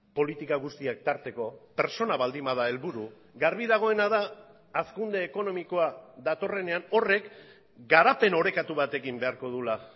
politika guztiak tarteko pertsona baldin bada helburu garbi dagoena da hazkunde ekonomikoa datorrenean horrek garapen orekatu batekin beharko duela